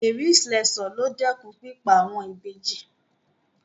Mary Slessor ló dẹ́kun pípa àwọn Ìbejì.